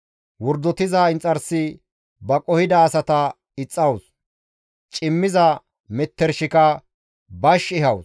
Wordotiza inxarsi ba qohida asata ixxawus; cimmiza metershika bash ehawus.